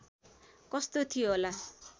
कस्तो थियो होला